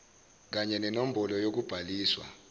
kanya nenombholo yokubhaliswa